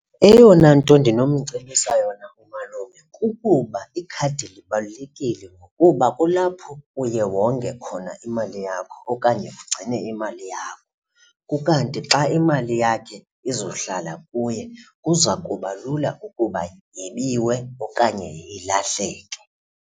Eyona nto ndinomcebisa yona umalume kukuba ikhadi libalulekile ngokuba kulapho uye wonge khona imali yakho okanye ugcine imali yakho. Ukanti xa imali yakhe izohlala kuye kuza kuba lula ukuba yebiwe okanye ilahleke.